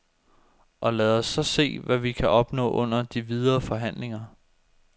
Og lad os så se, hvad vi kan opnå under de videre forhandlinger.